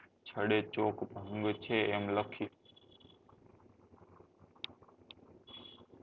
છડે ચોક ભંગ છે એમ લખી